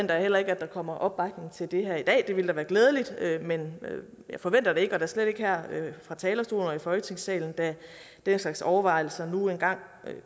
jeg heller ikke at der kommer opbakning til det her i dag det ville da være glædeligt men jeg forventer det ikke og da slet ikke her fra talerstolen og i folketingssalen da den slags overvejelser nu engang